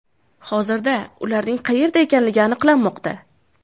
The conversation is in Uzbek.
Hozirda ularning qayerda ekanligi aniqlanmoqda.